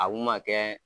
A kun ma kɛ